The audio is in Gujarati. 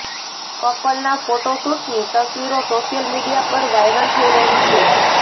કપલના ફોટોશૂટની તસવીરો સોશિયલ મીડિયા પર વાયરલ થઈ રહી છે